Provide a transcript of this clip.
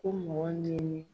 Ko mɔgɔ nin ye ne